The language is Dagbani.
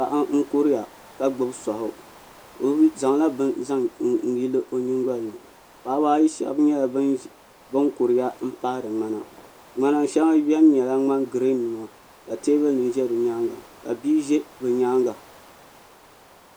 Paɣa n kuriya ka gbibi soaɣu o zaŋla bini n zaŋ yili o nyingolini paɣaba ayi sheba nyɛla bin kuriya m paɣari ŋmana ŋmana sheŋa biɛni ka nyɛ girin ka teebuli nima ʒɛ di nyaanga ka bia ʒɛ di nyaanga.